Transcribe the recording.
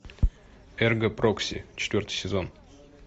эрго прокси четвертый сезон